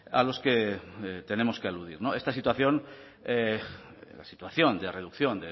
a los que tenemos que aludir no esta situación la situación de reducción